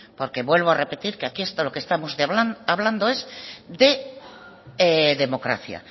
porque vuelvo a repetir que aquí esto lo que estamos hablando es de democracia